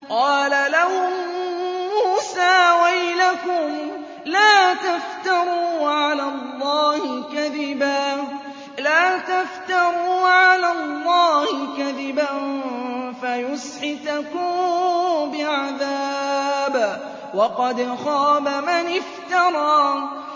قَالَ لَهُم مُّوسَىٰ وَيْلَكُمْ لَا تَفْتَرُوا عَلَى اللَّهِ كَذِبًا فَيُسْحِتَكُم بِعَذَابٍ ۖ وَقَدْ خَابَ مَنِ افْتَرَىٰ